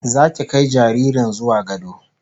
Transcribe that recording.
Zaki kai jaririn zuwa gado